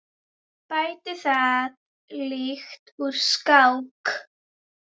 Bætti það lítt úr skák.